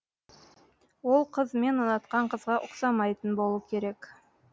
ол қыз мен ұнатқан қызға ұқсамайтын болу керек